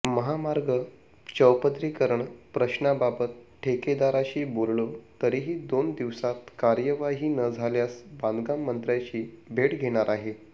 महामार्ग चौपदरीकरण प्रश्नाबाबत ठेकेदारशी बोललो तरीही दोन दिवसांत कार्यवाही न झाल्यास बांधकाम मंत्र्याची भेट घेणारआहे